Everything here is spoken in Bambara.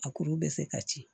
A kuru bɛ se ka ci